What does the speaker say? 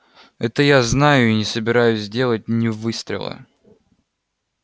это я знаю и не собираюсь сделать ни выстрела